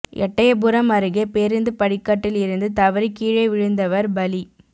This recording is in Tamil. எட்டயபுரம் அருகே பேருந்து படிக்கட்டில் இருந்து தவறி கீழே விழுந்தவா் பலி